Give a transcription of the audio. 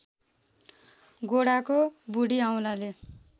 गोडाको बुढी औँलाले